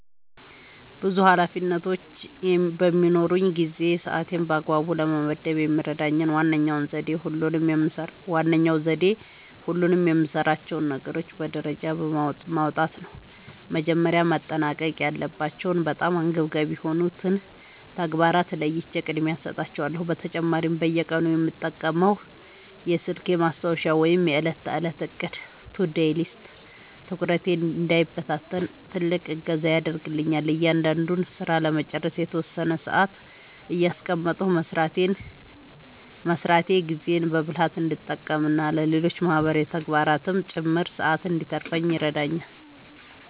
ብዙ ኃላፊነቶች በሚኖሩኝ ጊዜ ሰዓቴን በአግባቡ ለመመደብ የሚረዳኝ ዋነኛው ዘዴ ሁሉንም የምሠራቸውን ነገሮች በደረጃ ማውጣት ነው። መጀመሪያ ማጠናቀቅ ያለባቸውንና በጣም አንገብጋቢ የሆኑትን ተግባራት ለይቼ ቅድሚያ እሰጣቸዋለሁ። በተጨማሪም በየቀኑ የምጠቀመው የስልኬ ማስታወሻ ወይም የዕለት ተዕለት ዕቅድ (To-Do List) ትኩረቴ እንዳይበታተን ትልቅ እገዛ ያደርግልኛል። እያንዳንዱን ሥራ ለመጨረስ የተወሰነ ሰዓት እያስቀመጥኩ መሥራቴ ጊዜዬን በብልሃት እንድጠቀምና ለሌሎች ማህበራዊ ተግባራትም ጭምር ሰዓት እንድተርፈኝ ይረዳኛል።